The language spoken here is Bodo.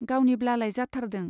गावनिब्लालाय जाथारदों।